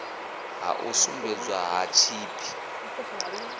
ha u sumbedziswa ha tshipi